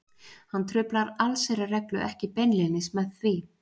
hann truflar allsherjarreglu ekki beinlínis með því